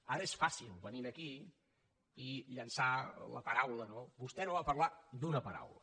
ara és fàcil venir aquí i llençar la paraula no vostè no va parlar d’una paraula